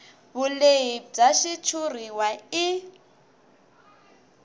vulehi bya xitshuriwa i